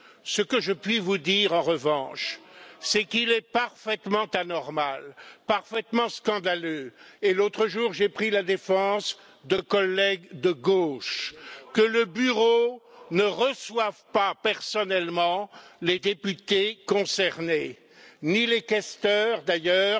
Ce que je puis vous dire en revanche, c'est qu'il est parfaitement anormal, parfaitement scandaleux et l'autre jour, j'ai pris la défense de collègues de gauche que le Bureau ne reçoive pas personnellement les députés concernés, ni les questeurs d'ailleurs,